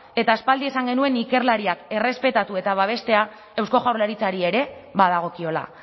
eta aspaldi esan genuen ikerlariak errespetatu eta babestea eusko jaurlaritzari ere badagokiola